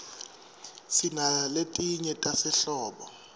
sinaletinye tasehlobo